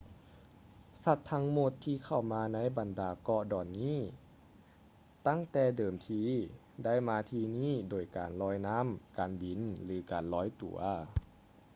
ສັດທັງໝົດ ທີ່ເຂົ້າມາໃນບັນດາເກາະດອນນີ້ຕັ້ງແຕ່ເດີມທີ ໄດ້ມາທີ່ນີ້ໂດຍການລອຍນ້ຳ ການບິນ ຫຼື ລອຍຕົວ